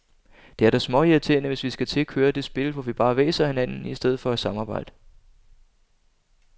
Det er da småirriterende, hvis vi skal til at køre det spil, hvor vi bare hvæser af hinanden i stedet for at samarbejde.